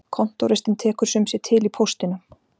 Kontóristinn tekur sum sé til í póstinum.